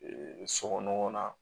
sokɔnɔ na